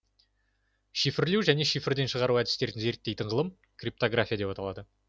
шифрлеу жене шифрден шығару әдістерін зерттейтін ғылым криптография деп аталады